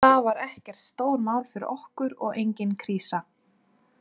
Þetta var ekkert stórmál fyrir okkur og engin krísa.